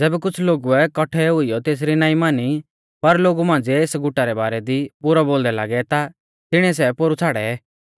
ज़ैबै कुछ़ लोगुऐ काट्ठै हुइयौ तेसरी नाईं मानी पर लोगु मांझ़िऐ एस गुटा रै बारै दी बुरौ बोलदै लागै ता तिणीऐ सै पोरु छ़ाड़ै